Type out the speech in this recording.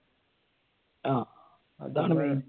ആഹ് അതാണ് main